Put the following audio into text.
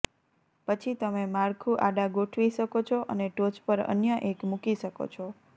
પછી તમે માળખું આડા ગોઠવી શકો છો અને ટોચ પર અન્ય એક મૂકી શકો છો